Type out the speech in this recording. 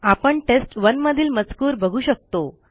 आपण टेस्ट1 मधील मजकूर बघू शकतो